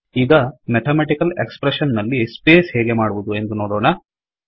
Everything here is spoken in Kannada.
ಈಗ ಮೆಥಾಮೆಟಿಕಲ್ ಎಕ್ಸ್ ಪ್ರೆಶ್ಸನ್ ನಲ್ಲಿ ಸ್ಪೇಸ್ ಹೇಗೆ ಮಾಡುವದು ಎಂದು ನೋಡೋಣ